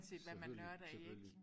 Selvfølgelig selvfølgelig